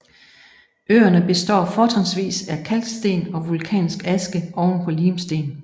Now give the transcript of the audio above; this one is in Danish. Øerne består fortrinsvis af kalksten og vulkansk aske oven på limsten